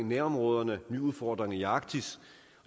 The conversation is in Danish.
nærområderne og nye udfordringer i arktis